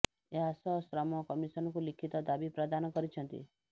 ଏହା ସହ ଶ୍ରମ କମିଶନଙ୍କୁ ଲିଖିତ ଦାବି ପ୍ରଦାନ କରିଛନ୍ତି